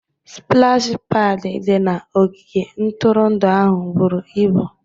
Spụlashi pad di na ogige ntụrụndụ ahụ buru ibu